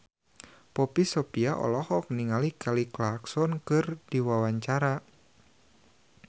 Poppy Sovia olohok ningali Kelly Clarkson keur diwawancara